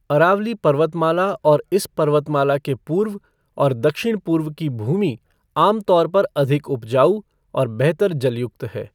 अरावली पर्वतमाला और इस पर्वतमाला के पूर्व और दक्षिण पूर्व की भूमि आम तौर पर अधिक उपजाऊ और बेहतर जल युक्त है।